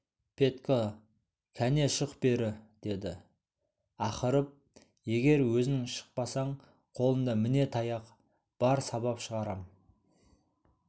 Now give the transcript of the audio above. петька кәне шық бері деді ақырып егер өзің шықпасаң қолымда міне таяқ бар сабап шығарам